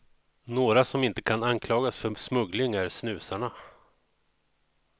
Några som inte kan anklagas för smuggling är snusarna.